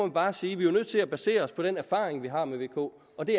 bare sige at vi jo er nødt til at basere os på den erfaring vi har med vko og det